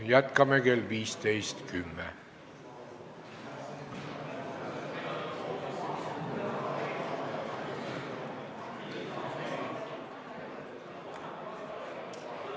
Jätkame kell 15.10.